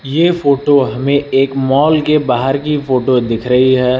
ये फोटो हमें एक मॉल के बाहर की फोटो दिख रही है।